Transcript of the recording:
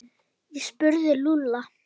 Hann spurði Lúlla.